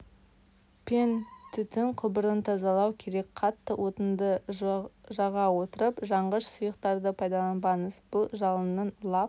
пен түтін құбырын тазалау керек қатты отынды жға отырып жанғыш сұйықтарды пайдаланбаңыз бұл жалынның лап